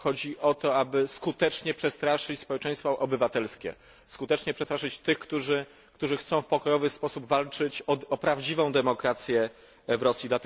Chodzi o to, aby skutecznie przestraszyć społeczeństwo obywatelskie, skutecznie przestraszyć tych, którzy chcą w pokojowy sposób walczyć o prawdziwą demokrację w Rosji.